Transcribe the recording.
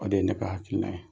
O de ye ne ka hakilina ye.